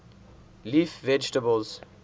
leaf vegetables